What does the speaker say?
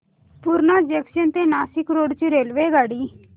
Purna junction ते Nashik road ची रेल्वेगाडी